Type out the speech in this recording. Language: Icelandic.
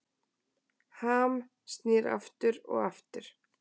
Ham snýr aftur og aftur